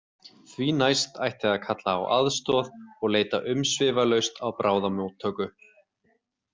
Því næst ætti að kalla á aðstoð og leita umsvifalaust á bráðamóttöku.